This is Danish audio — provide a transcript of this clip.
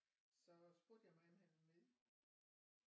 Så spurgte jeg om han ville med